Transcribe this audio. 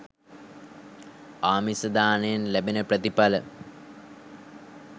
ආමිස දානයෙන් ලැබෙන ප්‍රථිඵල